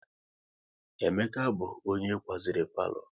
Emeka bụ onye kwaziri palo